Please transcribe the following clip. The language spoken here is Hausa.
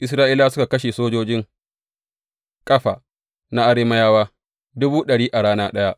Isra’ilawa suka kashe sojojin kafa na Arameyawa dubu ɗari a rana ɗaya.